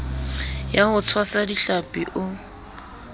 ya ho tshwasa dihlapi o